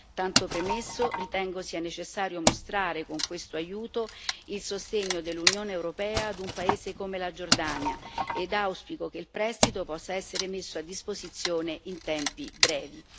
Tanto premesso, ritengo sia necessario mostrare con questo aiuto il sostegno dell'Unione europea ad un paese come la Giordania ed auspico che il prestito possa essere messo a disposizione in tempi brevi.